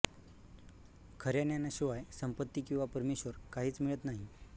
खऱ्या ज्ञानाशिवाय संपत्ती किंवा परमेश्वर काहीच मिळत नाही